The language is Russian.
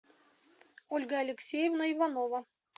ольга алексеевна иванова